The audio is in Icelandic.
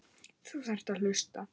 Þú þarft að hlusta.